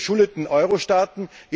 Unsere verschuldeten Euro Staaten?